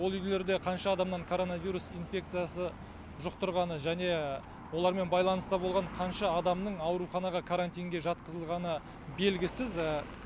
ол үйлерде қанша адамнан коронавирус инфекциясы жұқтырғаны және олармен байланыста болған қанша адамның ауруханаға карантинге жатқызылғаны белгісіз